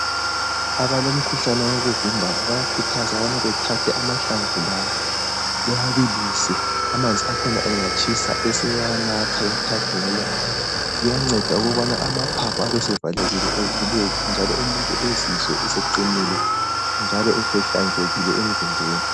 Abalomkhuhlane wokuvimbana bayakhuthazwa ukubana bethathe amahlamvu lawa bewabilise. Amanzi akhona engatshisa besebewanatha kathathu ngelanga. Kuyanceda ukubana amaphaphu ebesevalekile evuleke, njalo umuntu ezizwe eseqinile, njalo esehlanzekile emzimbeni.